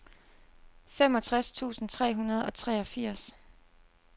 femogtres tusind tre hundrede og treogfirs